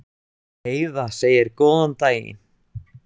Heiða segir góðan daginn!